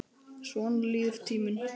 Svona líður tíminn.